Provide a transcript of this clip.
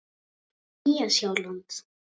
Nýja Sjáland